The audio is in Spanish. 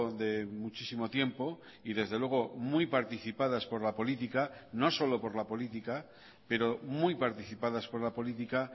de muchísimo tiempo y desde luego muy participadas por la política no solo por la política pero muy participadas por la política